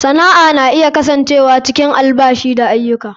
Sana'a na iya kasancewa cikin albashi da aiyuka.